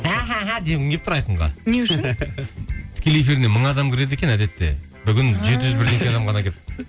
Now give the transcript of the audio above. дегім келіп тұр айқынға не үшін тікелей эфиріне мың адам кіреді екен әдетте бүгін жеті жүз бірдеңке адам ғана келіпті